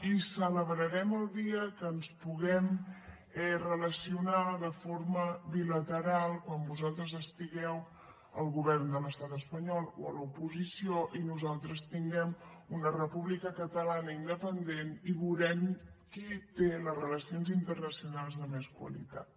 i celebrarem el dia que ens puguem relacionar de forma bilateral quan vosaltres estigueu al govern de l’estat espanyol o a l’oposició i nosaltres tinguem una república catalana independent i veurem qui té les relacions internacionals de més qualitat